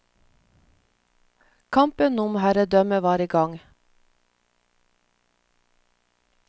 Kampen om herredømme var i gang.